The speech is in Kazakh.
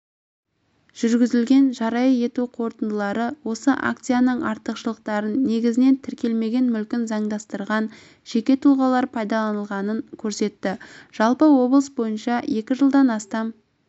жүргізілген жария ету қорытындылары осы акцияның артықшылықтарын негізінен тіркелмеген мүлкін заңдастырған жеке тұлғалар пайдаланғанын көрсетті жалпы облыс бойынша екі жылдан астам